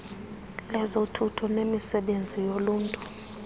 lezothutho nemisebenzi yoluntu